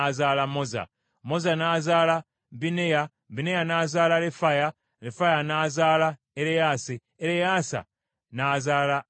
Moza n’azaala Bineya, Bineya n’azaala Lefaya, Lefaya n’azaala Ereyaasa, Ereyaasa n’azaala Azeri.